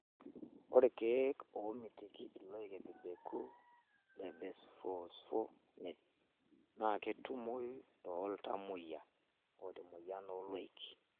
Ore ilkeek oomitiki loik ebebeku le bisphosphonates naa ketumoyu tooltamoyia oota emoyian ooloik.